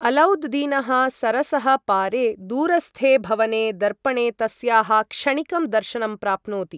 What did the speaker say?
अलौद् दीनः सरसः पारे दूरस्थे भवने दर्पणे तस्याः क्षणिकं दर्शनं प्राप्नोति।